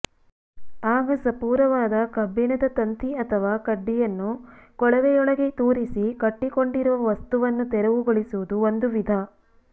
ಆಗ ಸಪೂರವಾದ ಕಬ್ಬಿಣದ ತಂತಿ ಅಥವಾ ಕಡ್ಡಿಯನ್ನು ಕೊಳವೆಯೊಳಗೆ ತೂರಿಸಿ ಕಟ್ಟಿಕೊಂಡಿರುವ ವಸ್ತುವನ್ನು ತೆರವುಗೊಳಿಸುವುದು ಒಂದು ವಿಧ